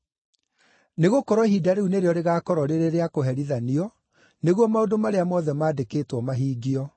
Nĩgũkorwo ihinda rĩu nĩrĩo rĩgaakorwo rĩrĩ rĩa kũherithanio, nĩguo maũndũ marĩa mothe mandĩkĩtwo mahingio.